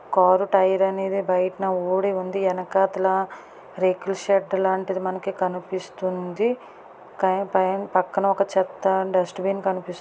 Car tyre అనేది బయటనే ఊడి ఉంది. ఎనకాతల రేకులషెడ్డు లాంటిది మనకి కనిపిస్తుంది. కాని పైన పక్కన ఒక చెత్త డస్ట్ బిన్ కనిపిస్తూ--